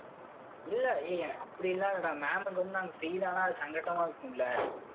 இல்லை ஏய் அப்படி எல்லாம் இல்லை டா ma'am க்கு வந்து நாங்க fail ஆனா அது சங்கடமா இருக்கும்ல.